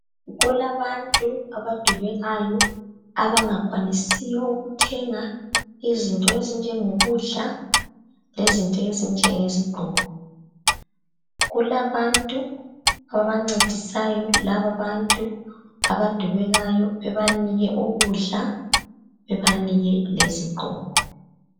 Kulabantu abadubekayo abangakwanisiyo ukuthenga izinto ezinjengo kudla lezinto ezinjenge zigqoko. Kulabantu abancedisayo laba bantu abadubekayo bebanike ukudla bebanike lezigqoko.